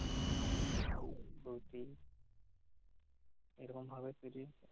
হাতের কাছে জটিল এরকম ভাবে যদি-